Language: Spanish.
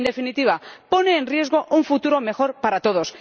En definitiva, pone en riesgo un futuro mejor para todos.